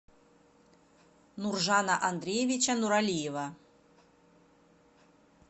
нуржана андреевича нуралиева